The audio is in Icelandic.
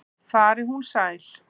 Fari hún sæl.